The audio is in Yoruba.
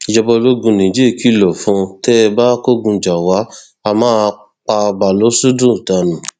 ìjọba ológun niger kìlọ fún tẹ ẹ bá kógun jà wà á máa pa baʹlosódù dànù